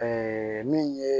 min ye